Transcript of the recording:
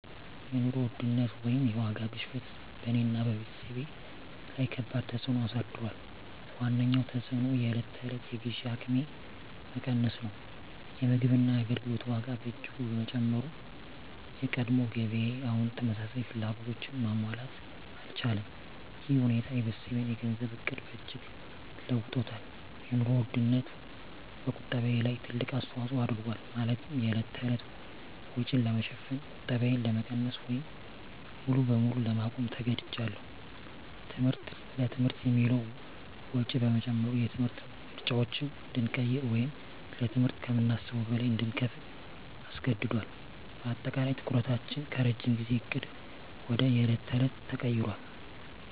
የኑሮ ውድነት (የዋጋ ግሽበት) በእኔና በቤተሰቤ ላይ ከባድ ተፅዕኖ አሳድሯል። ዋነኛው ተፅዕኖ የዕለት ተዕለት የግዢ አቅሜ መቀነስ ነው። የምግብና የአገልግሎት ዋጋ በእጅጉ በመጨመሩ፣ የቀድሞ ገቢዬ አሁን ተመሳሳይ ፍላጎቶችን ማሟላት አልቻለም። ይህ ሁኔታ የቤተሰቤን የገንዘብ ዕቅድ በእጅጉ ለውጦታል - የኑሮ ውድነቱ በቁጠባዬ ላይ ትልቅ አስተዋጽኦ አድርጓል፤ ማለትም የዕለት ተዕለት ወጪን ለመሸፈን ቁጠባዬን ለመቀነስ ወይም ሙሉ በሙሉ ለማቆም ተገድጃለሁ። ትምህርት: ለትምህርት የሚውለው ወጪ በመጨመሩ፣ የትምህርት ምርጫዎችን እንድንቀይር ወይም ለትምህርት ከምናስበው በላይ እንድንከፍል አስገድዶናል። በአጠቃላይ፣ ትኩረታችን ከረጅም ጊዜ ዕቅድ ወደ የዕለት ተዕለት ተቀይሯል።